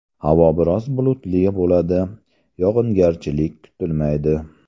Havo biroz bulutli bo‘ladi, yog‘ingarchilik kutilmaydi.